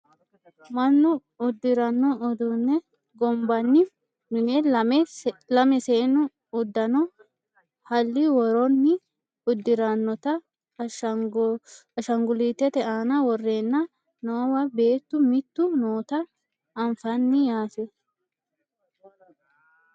mannu uddiranno uduunne gonbanni mine lame seennu uddano halli woronni uddirannota ashaangullitete aana worreenna noowa beettu mittu noota anfanni yaate